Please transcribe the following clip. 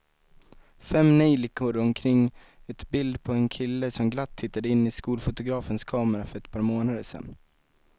Fem neljikor omkring ett bild på en kille som glatt tittade in i skolfotografens kamera för ett par månader sedan.